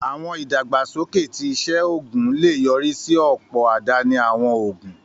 Àwọn ìdàgbàsókè ti iṣẹ́ oògùn lè yọrí sí ọ̀pọ̀ àdáni àwọn òògùn